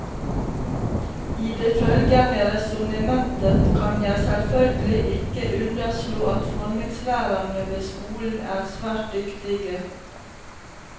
I det følgende resonnementet kan jeg selvfølgelig ikke underslå at formingslærerne ved skolen er svært dyktige.